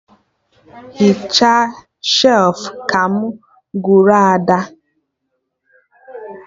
Hichaa shelfụ! ka mụ gwara Ada